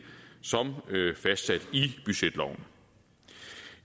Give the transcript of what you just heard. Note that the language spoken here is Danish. som fastsat i budgetloven